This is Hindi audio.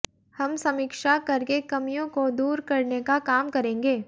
हम समीक्षा करके कमियों को दूर करने का काम करेंगे